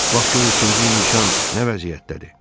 Bax gör üçüncü nişan nə vəziyyətdədir.